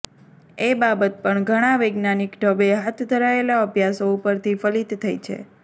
એ બાબત પણ ઘણા વૈજ્ઞાાનિક ઢબે હાથ ધરાયેલા અભ્યાસો ઉપરથી ફલિત થઈ છે